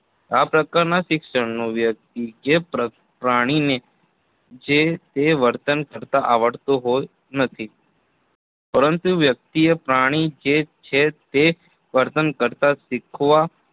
આ પ્રકારના શિક્ષણનું જે પ્રાણીને જે તે વર્તન કરતાં આવડતું હોય નથી પરંતુ વ્યક્તિ એ પ્રાણી જે તે વર્તન કરતાં શીખવા